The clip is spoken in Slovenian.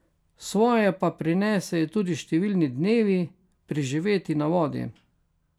Svoje pa prinesejo tudi številni dnevi, preživeti na vodi.